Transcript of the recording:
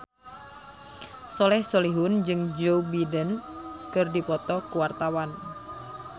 Soleh Solihun jeung Joe Biden keur dipoto ku wartawan